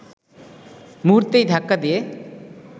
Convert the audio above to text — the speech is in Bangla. মুহূর্তেই ধাক্কা দিয়ে